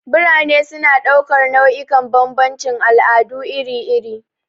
Birane suna ɗaukar nau'ikan bambancin al'adu iri-iri.